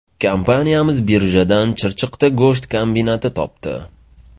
Kompaniyamiz birjadan Chirchiqda go‘sht kombinati topdi.